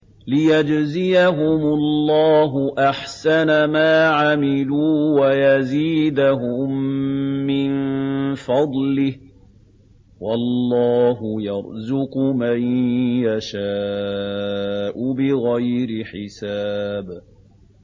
لِيَجْزِيَهُمُ اللَّهُ أَحْسَنَ مَا عَمِلُوا وَيَزِيدَهُم مِّن فَضْلِهِ ۗ وَاللَّهُ يَرْزُقُ مَن يَشَاءُ بِغَيْرِ حِسَابٍ